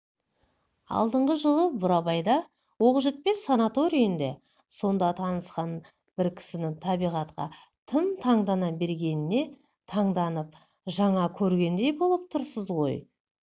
алдыңғы жылы бурабайда оқжетпес санаторийінде сонда танысқан бір кісінің табиғатқа тым таңдана бергеніне таңданып жаңа көргендей болып тұрсыз ғой